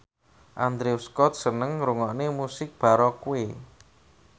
Andrew Scott seneng ngrungokne musik baroque